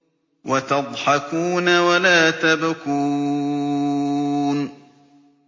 وَتَضْحَكُونَ وَلَا تَبْكُونَ